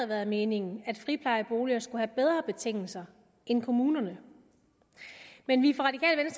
været meningen at friplejeboliger skulle have bedre betingelser end kommunerne men vi